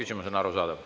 Küsimus on arusaadav.